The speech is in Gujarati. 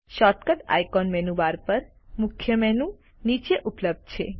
શોર્ટકટ આઇકોન મેનુ બાર પર મુખ્ય મેનુ નીચે ઉપલબ્ધ છે